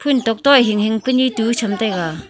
phun tok to e hing hing pu ni tu cham taiga .